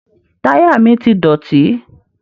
Táyà mi ti dọ̀tí.